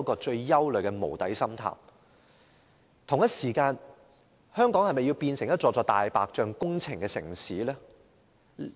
此外，我們是否想香港變成充斥着"大白象"工程的城市呢？